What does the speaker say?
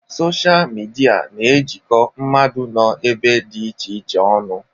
Sochịa midia na-ejikọ mmadụ nọ ebe dị iche iche ọnụ.